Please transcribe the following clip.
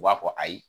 U b'a fɔ ayi